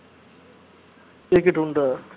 ticket உண்டா